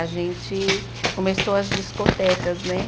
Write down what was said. A gente começou as discotecas, né?